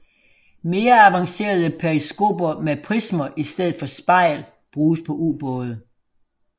Mere avancerede periskoper med prismer i stedet for spejl bruges på ubåde